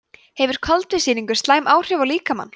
hefur koltvísýringurinn slæm áhrif á líkamann